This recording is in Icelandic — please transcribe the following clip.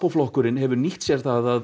flokkurinn hefur nýtt sér það að